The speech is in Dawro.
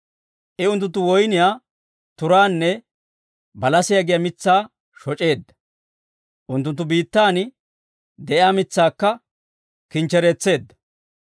I unttunttu woyniyaa turaanne balasiyaa giyaa mitsaa shoc'eedda; unttunttu biittan de'iyaa mitsaakka kinchchereetseedda.